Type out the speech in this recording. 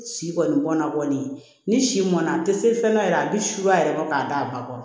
Si kɔni bɔnna kɔni ni si mɔnna a tɛ se fɛn dɔ yɛrɛ a bɛ siya yɛrɛ bɔ k'a d'a ba kɔrɔ